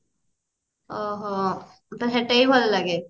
ଆଃ ହ ସେଟାବି ଭଲ ଲାଗେ